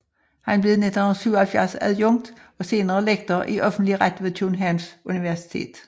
Han blev i 1977 adjunkt og senere lektor i offentlig ret ved Københavns Universitet